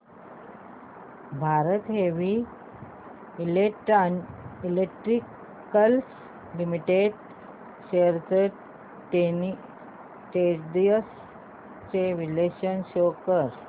Bharat heavy electricals limited shares trends चे विश्लेषण show कर